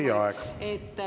Teie aeg!